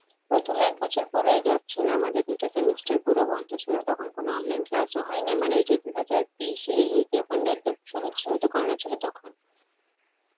প্রথমে এক বছর পুরাই gap ছিল, আমাদের দুটো semester পুরো বন্ধ ছিল তখন কোনো online class ও হয়নি মানে ঐযে দু হাজার বিশ এ শুরু শুরুতে corona ছিল তখন